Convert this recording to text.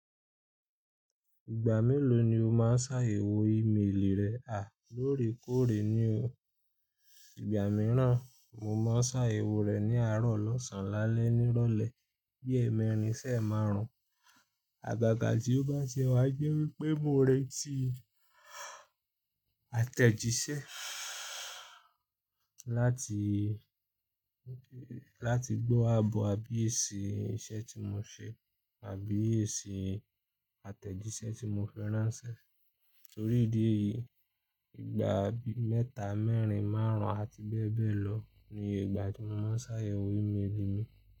Ìgbà mélòó ni o máa ń sa yèwo ìmelì rẹ? À, lóòrèkóòrè ni o. Ìgbà mìíràn, mo máa ń sayèwo rẹ̀ ní àárọ̀ lọ́sàn-án lálẹ́ nírọ̀lẹ́ bí èmeẹrin ṣ'emáarùn. Àgàgà tí ó bá tie wá jẹ́ wípé mo n rẹ́ti àtẹ̀jíṣẹ́ láti, láti gbọ́ àbọ̀ àbí èsì iṣẹ́ tí mo ṣe àbí èsì àtẹ̀jíṣẹ́ tí mo fi ránṣẹ́. Torí ìdí èyí, ìgbà bi mẹ́ta, mẹ́rìn, márùn-ún àti bẹ́ẹ̀ bẹ́ẹ̀ lọ niye ìgbà tí mo máa ń s'àyèwò ìmelì mi.